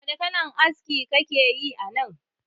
Wani kalan aski kakeyi anan?